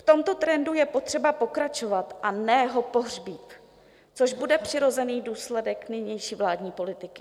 V tomto trendu je potřeba pokračovat, a ne ho pohřbít, což bude přirozený důsledek nynější vládní politiky.